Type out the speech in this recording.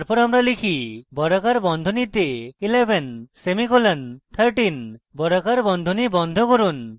তারপর আমরা type বর্গাকার বন্ধনীতে 11 semicolon 13 বর্গাকার বন্ধনী বন্ধ করুন